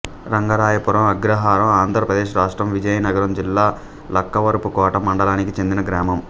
రంగరాయపురం అగ్రహారంఆంధ్ర ప్రదేశ్ రాష్ట్రం విజయనగరం జిల్లా లక్కవరపుకోట మండలానికి చెందిన గ్రామం